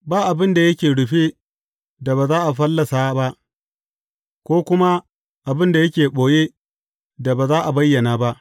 Ba abin da yake rufe da ba za a fallasa ba, ko kuma abin da yake ɓoye da ba za a bayyana ba.